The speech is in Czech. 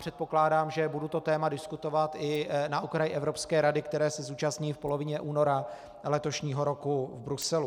Předpokládám, že budu to téma diskutovat i na okraji Evropské rady, které se zúčastním v polovině února letošního roku v Bruselu.